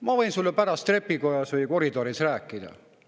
"Ma võin sulle pärast trepikojas või koridoris rääkida.